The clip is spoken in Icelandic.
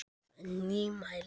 Það er nýmæli.